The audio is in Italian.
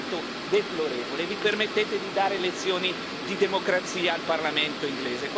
Vi permettete di dare lezioni di democrazia al parlamento inglese questo è vergognoso.